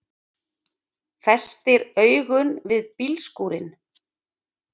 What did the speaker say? Festir augun við bílskúrinn.